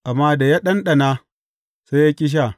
Amma da ya ɗanɗana, sai ya ƙi sha.